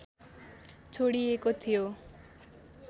छोडिएको थियो